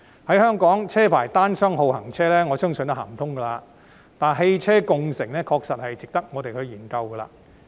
在香港實行車牌單雙號行車，我相信這方法不可行，但汽車共乘確實值得我們研究。